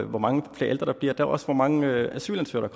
hvor mange flere ældre der bliver der ligger også hvor mange asylansøgere